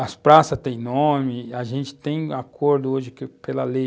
As praças têm nome, a gente tem acordo hoje pela lei